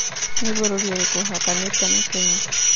nĩ bũrũri ũrĩkũ ũhakanite na Kenya